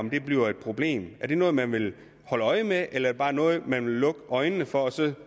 bliver et problem er det noget man vil holde øje med eller er det bare noget man vil lukke øjnene for og så